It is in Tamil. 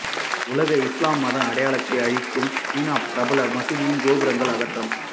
உலகம் இஸ்லாம் மத அடையாளத்தை அழிக்கும் சீனா பிரபல மசூதியின் கோபுரங்கள் அகற்றம்